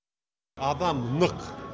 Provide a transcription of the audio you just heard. адам нық